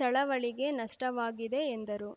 ಚಳವಳಿಗೆ ನಷ್ಟವಾಗಿದೆ ಎಂದರು